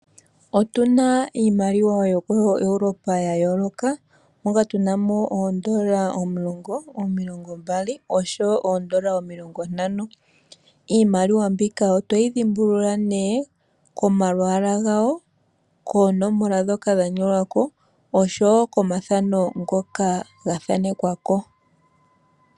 Otuna iimaliwa yokoEuropa ya yooloka moka tu na mo oondola omulongo, omilongo mbali oshowo oondola omilongo ntano. Iimaliwa mbika oto yi dhimbulula nee komalwaala gayo, koonomola ndhoka dha nyolwa ko oshowo komathano ngoka ga thanekwa ko.